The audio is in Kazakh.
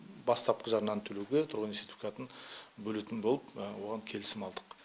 бастапқы жарнаны төлеуге тұрғын үй сертификатын бөлетін болып оған келісім алдық